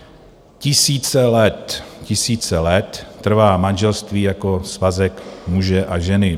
Tisíce let, tisíce let trvá manželství jako svazek muže a ženy.